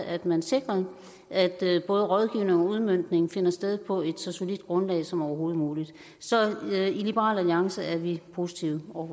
at man sikrer at både rådgivning og udmøntning finder sted på et så solidt grundlag som overhovedet muligt så i liberal alliance er vi positive over